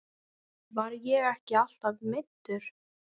Var ég ekki alltaf meiddur?